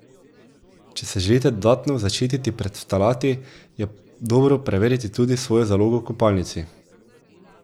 Če se želite dodatno zaščititi pred ftalati, je dobro prevetriti tudi svojo zalogo v kopalnici.